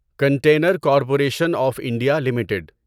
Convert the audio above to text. container Corporation of India limited